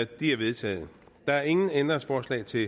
de er vedtaget der er ingen ændringsforslag til